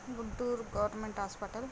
Guntur government hospital .